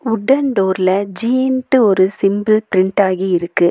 வுடன் டோர்ல ஜி ன்டு ஒரு சிம்பல் பிரிண்ட் ஆகியிருக்கு.